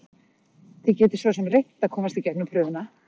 Þið getið svosem reynt að komast í gegnum prufuna.